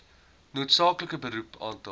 noodsaaklike beroep aantal